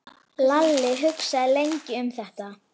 Lalli hugsaði lengi um þetta.